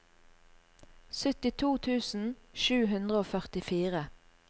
syttito tusen sju hundre og førtifire